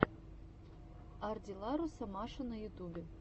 ардилларуса маша на ютубе